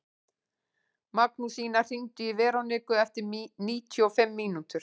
Magnúsína, hringdu í Veroniku eftir níutíu og fimm mínútur.